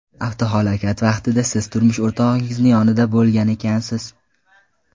Avtohalokat vaqtida siz turmush o‘rtog‘ingizni yonida bo‘lgan ekansiz.